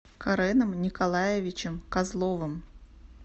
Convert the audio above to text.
кареном николаевичем козловым